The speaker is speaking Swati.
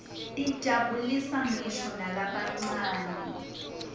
tijabulisa nqisho nalabancane